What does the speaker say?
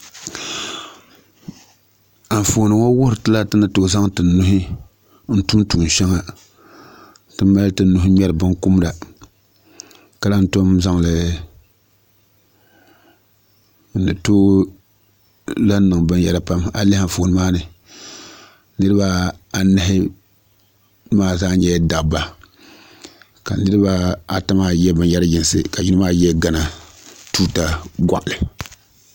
Anfooni ŋo wuhuri tila ti ni tooi zaŋ ti nuhi n tum tuun shɛŋa ti mali ti nuhi n ŋmɛri binkumda ka lahi tom zaŋli n ni tooi lahi niŋ binyɛra pam a yi lihi Anfooni maa ni niraba anahi maa zaa nyɛla dabba ka niraba ata maa yɛ binyɛri yinsi ka yino maa yɛ gana tuuta goɣali